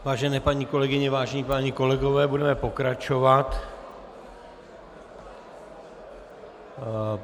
Vážené paní kolegyně, vážení páni kolegové, budeme pokračovat.